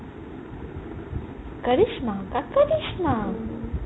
কৰিশ্মা কা কৰিশ্মা